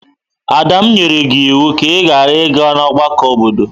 Ada, m nyere gi iwu ka i ghara iga ọgbakọ obodo!